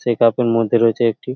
Check up -এর মধ্যে রয়েছে একটি।